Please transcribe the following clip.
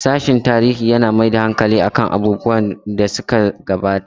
Sashen tarihin yana mai da hankali kan nazarin abubuwan da suka gabata.